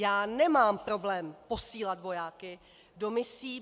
Já nemám problém posílat vojáky do misí.